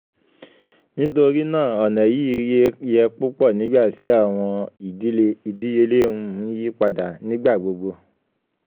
nitori naa ọna yii yẹ pupọ nigbati awọn um idiyele um n yipada nigba gbogbo